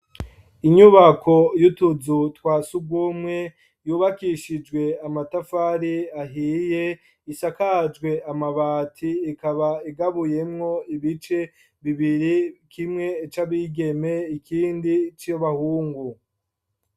Inyubako y'utuzu twa sugumwe yubakishijwe amatafari ahiye isakajwe amabati ikaba igabuyemwo ibice bibiri kimwe c'abigeme ikindi c'abahungu.